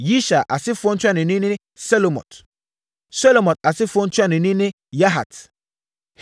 Yishar asefoɔ ntuanoni ne Selomot. Selomot asefoɔ ntuanoni ne Yahat.